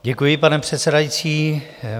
Děkuji, pane předsedající.